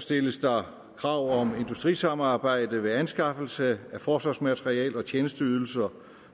stilles der krav om industrisamarbejde ved anskaffelse af forsvarsmateriel og tjenesteydelser